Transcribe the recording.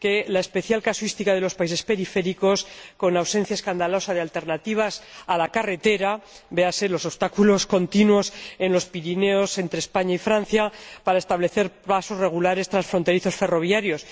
la especial casuística de los países periféricos, con ausencia escandalosa de alternativas a la carretera —véanse los obstáculos continuos en los Pirineos, entre España y Francia, para establecer pasos regulares transfronterizos ferroviarios—.